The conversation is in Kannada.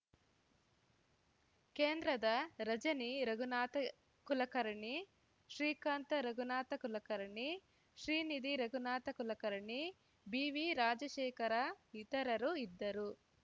ಕೇಂದ್ರದ ರಜನಿ ರಘುನಾಥ ಕುಲಕರ್ಣಿ ಶ್ರೀಕಾಂತ ರಘುನಾಥ ಕುಲಕರ್ಣಿ ಶ್ರೀನಿಧಿ ರಘುನಾಥ ಕುಲಕರ್ಣಿ ಬಿವಿರಾಜಶೇಖರ ಇತರರು ಇದ್ದರು